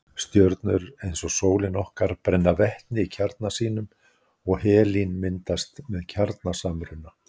Stjörnur eins og sólin okkar brenna vetni í kjarna sínum og helín myndast með kjarnasamruna.